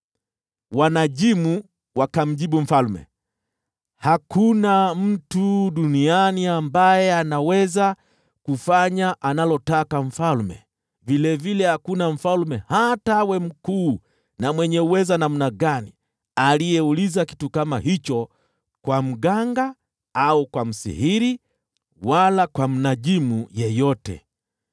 Wanajimu wakamjibu mfalme, “Hakuna mtu duniani ambaye anaweza kufanya analotaka mfalme! Vilevile hakuna mfalme hata awe mkuu na mwenye uweza namna gani, aliyeuliza kitu kama hicho kwa mganga au kwa msihiri, wala kwa mnajimu yeyote.